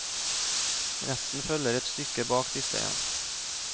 Resten følger et stykke bak disse igjen.